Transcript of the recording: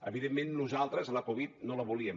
evidentment nosaltres la covid no la volíem